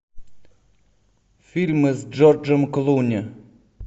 фильмы с джорджем клуни